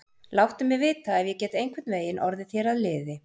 Láttu mig vita, ef ég get einhvern veginn orðið þér að liði.